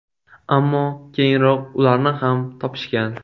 Ammo keyinroq ularni ham topishgan.